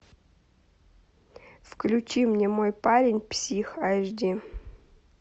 включи мне мой парень псих аш ди